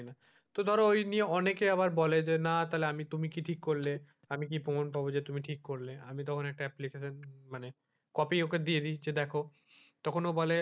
তো ধারা ওই নিয়ে অনেকে আবার বলে যে না তাহলে তুমি কি ঠিক করলে আমি কি প্রমান পাবো যে তুমি ঠিক করলে আমি তখন একটা application মানে copy ওকে দিয়ে দিই যে দেখো তখন ও বলে,